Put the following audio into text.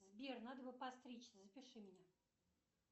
сбер надо бы подстричься запиши меня